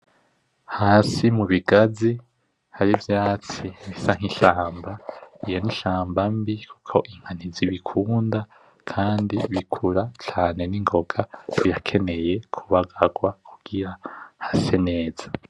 Hsi mubigazi harivyatsi bisa nkishamba, yari ishamba mbi kuko inka ntizibikunda kandi bikura cane ningoga birakeneye kubagarwa kugira hase neza.